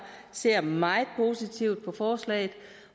ser meget positivt på forslaget